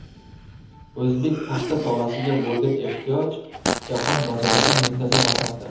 O‘zbek paxta tolasiga bo‘lgan ehtiyoj jahon bozorida muntazam ortmoqda.